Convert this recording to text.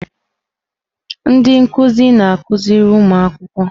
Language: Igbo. Ndị nkuzi na-akụziri ụmụ akwụkwọ.